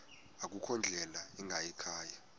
akukho ndlela ingayikhaya